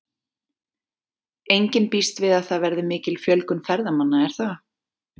Enginn býst við að það verði mikil fjölgun ferðamanna er það?